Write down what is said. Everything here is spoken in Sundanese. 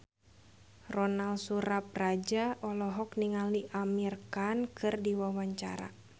Ronal Surapradja olohok ningali Amir Khan keur diwawancara